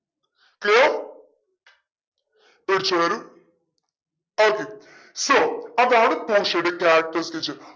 clear പേടിച്ചോ എല്ലാരും okay so അതാണ് പോഷിയോടെ character sketch